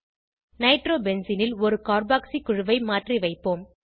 நைட்ரோபென்சீனில் ஒரு கார்பாக்ஸி குழுவை மாற்றி வைப்போம்